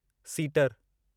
सीटरु